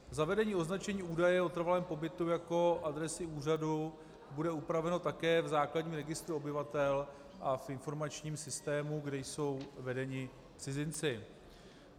Zavedení označení údaje o trvalém pobytu jako adresy úřadu bude upraveno také v základním registru obyvatel a v informačním systému, kde jsou vedeni cizinci.